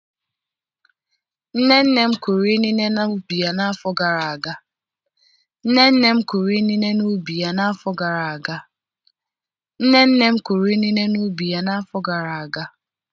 Nne nne m kụrụ inine n'ubi ya n'afọ gara aga.